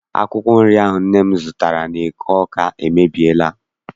Akwụkwọ nri ahụ nne m gotere n'eke Awka emebiela.